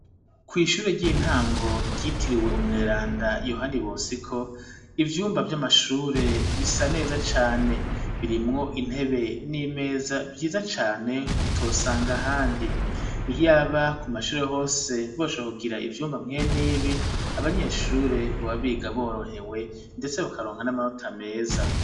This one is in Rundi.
Kwishure ry'intango, ryitiriwe umweranda yohani bosiko, ivyumba vy'amashure bisa neza cane, birimwo intebe n'imeza vyiza cane, utosanga ahandi. Iyaba k'umashure hose boshobora kugira ivyumba mwen'ibi ,abanyeshuri boba biga borohewe ,ndetse bakaronka n'amanota meza.